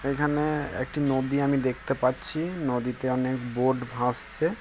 এখানে একটা নদী আমি দেখতে পাচ্ছি। নদীতে অনেক বোট ভাসছে।